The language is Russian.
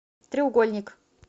треугольник